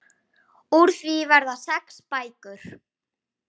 Úr því verða sex bækur.